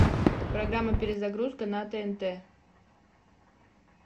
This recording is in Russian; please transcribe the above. программа перезагрузка на тнт